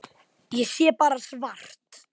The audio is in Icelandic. Ég sé bara svart.